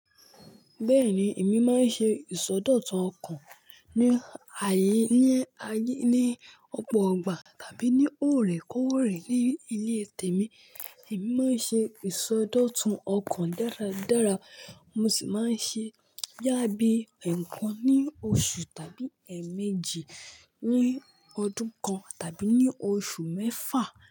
Bẹ́ẹ̀ni, èmi máa ń ṣe ìsọdọ̀tun ọkàn ní ayé, ní ayé, ní ọ̀pọ̀ ọ̀gbà tàbí ní oòrè koòrè ní ilé tèmi. Èmi máa ń ṣe ìsọdọ̀tun ọkàn dáradára, mo sì máa ń ṣe boya bi ẹẹkan ní oṣù tàbí ẹẹ̀méjì ní ọdún kan tàbí ní oṣù mẹ́fà.